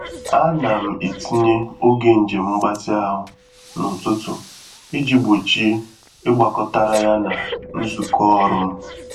A na m etinye oge njem mgbatị ahụ n’ụtụtụ iji gbochie igbakọtara ya na nzukọ ọrụ m